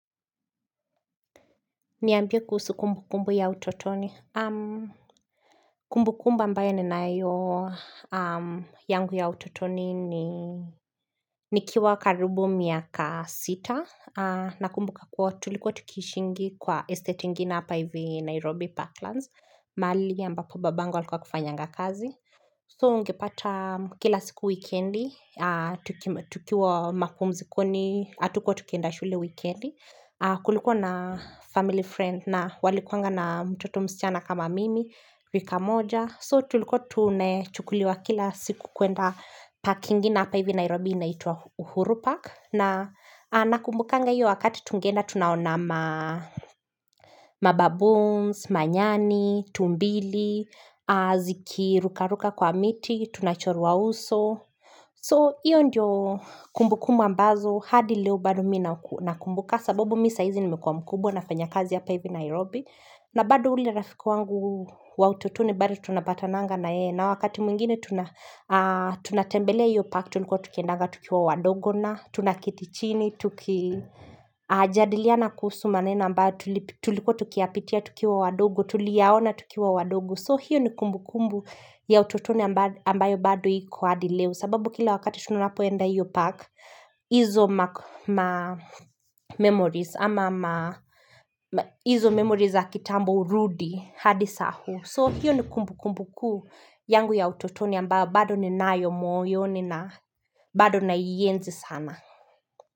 Niambia kusu kumbukumbu ya utotoni. Kumbukumbu ambayo ninayo yangu ya utotoni ni nikiwa karibu miaka sita. Nakumbu kakua tulikuwa tukishingi kwa estate ingina hapa hivi Nairobi Parklands. Mahali ambapo babangu walikuwa akifanyanga kazi. So ungepata kila siku weekendi. Tukiwa makumzikoni hatuko tukienda shule wikindi. Kulikuwa na family friend na walikuwa na mtoto msichana kama mimi rika moja so tulikuwa tumechukuliwa kila siku kuenda park ingine na hapa hivi Nairobi anaitwa uhuru Park na nakumbukanga hiyo wakati tungenda tunaona mababoons, manyani, tumbili, zikirukaruka kwa miti, tunachorua uso. So hiyo ndiyo kumbukumbu ambazo hadi leo bado mimi nakumbuka sababu mimi saa hizi nimekuwa mkubwa nafanya kazi hapa hivi Nairobi. Na bado ule rafiku wangu wa utotoni bado tunapatananga na yeye na wakati mwingine tunatembelea hiyo park tulikuwa tukiendaga tukiwa wadogo na tunaketi chini tukijadiliana kuhusu maneno ambayo tulikuwa tukiapitia tukiwa wadogo tuliaona tukiwa wadogo. So hiyo ni kumbukumbu ya utotoni ambayo bado hiko hadi leo sababu kila wakati tunapoenda hiyo park izo memories ama izo memories za kitambo urudi hadi saa huu. So hiyo ni kumbukumbu kuu yangu ya utotoni ambayo bado ni nayo moyo ni na bado naienzi sana.